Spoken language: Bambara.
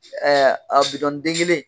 a den kelen.